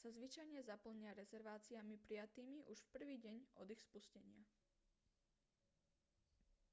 sa zvyčajne zaplnia rezerváciami prijatými už v prvý deň od ich spustenia